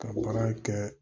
Ka baara kɛ